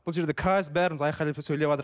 бұл жерде каждый бәріміз айқайлап ше сөйлеватырық